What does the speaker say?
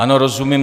Ano, rozumím.